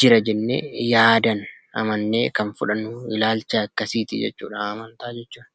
jira jenne yaadan amaanne Kan fudhannu ilaalchaa akkasitti jechuudha amantaa jechuun.